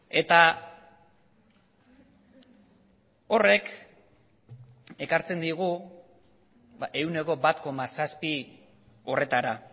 eta horrek ekartzen digu ehuneko bat koma zazpi horretara